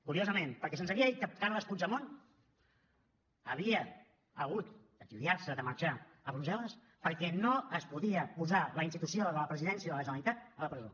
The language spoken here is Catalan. curiosament perquè se’ns havia dit que carles puigdemont havia hagut d’exiliar se de marxar a brussel·les perquè no es podia posar la institució de la presidència de la generalitat a la presó